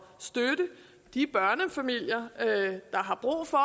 støtte de børnefamilier der har brug for